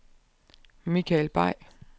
Michael Bay